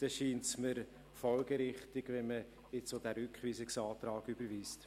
Daher erscheint es mir folgerichtig, jetzt auch diesen Rückweisungsantrag zu überweisen.